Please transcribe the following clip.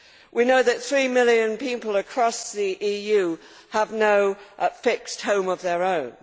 We know that three million people across the EU have no fixed home of their own.